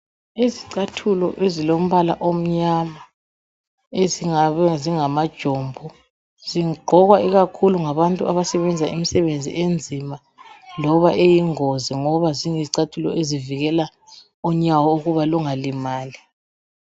Izicathulo ezilombala omnyama ezingabe zingama jombo zigqokwa ikakhulu ngabantu abasebenza imsebenzi enzima loba eyingozi ngoba ziyizicathulo ezivikela unyawo ukuba lunga limali.